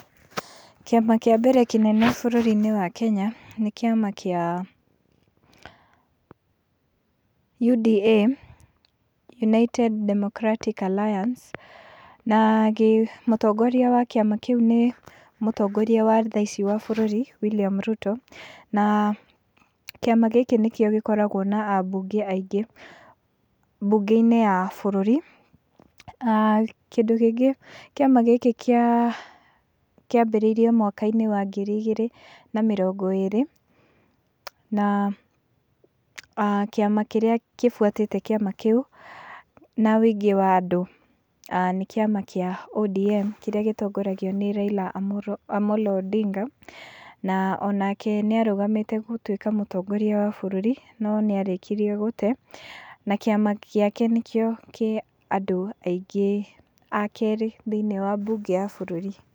Kĩama kĩa mbere kĩnene bũrũri-inĩ wa Kenya, nĩ kĩama kĩa UDA, United Democratic Alliance, na mũtongoria wa kĩama kĩu nĩ mũtongoria wa thaa ici wa bũrũri William Ruto, na kĩama gĩkĩ nĩkĩo gĩkoragwo na abunge aingĩ bunge-inĩ ya bũrũri, aah kĩndũ kĩngĩ kĩama gĩkĩ kĩa kĩambĩrĩirie mwaka-inĩ wa ngiri igĩrĩ na mĩrongo ĩrĩ, na kĩama kĩrĩa kĩbwatĩte kĩama kĩu na wĩingĩ wa andũ, nĩ kĩama kĩa ODM kĩrĩa gĩtongoragio nĩ Raila Amollo Odinga, na onake nĩ arũgamĩte gũtuĩka mũtongoria wa bũrũri, no nĩ arĩkĩrie gũte, na kĩama gĩake nĩkĩo kĩ andũ aingĩ a kerĩ, thĩiniĩ wa bunge ya bũrũri.